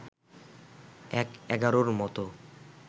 ১/১১’র মতো